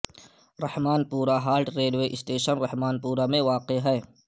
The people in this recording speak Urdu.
رحمان پورہ halt railway station Rahmanpura میں واقع ہے